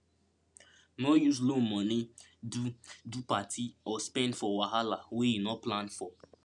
no use loan money do do party or spend for wahala wey you no plan for